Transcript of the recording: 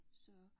Så